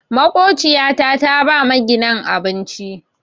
Makociyata ta ba maginan abinci.